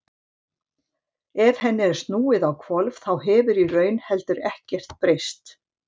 Ef henni er snúið á hvolf þá hefur í raun heldur ekkert breyst.